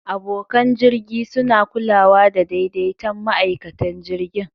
Abokan jirgi suna kulawa da daidaitan ma'aikatan jirgin.